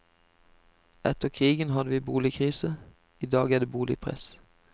Etter krigen hadde vi boligkrise, i dag er det boligpress.